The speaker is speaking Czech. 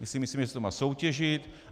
My si myslíme, že se to má soutěžit.